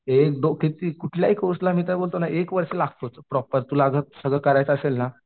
एक दो किती कुठल्याही कोर्सला मी काय बोलतो ना एक वर्ष लागतात तुला असं प्रॉपर सरळ करायचं असेल ना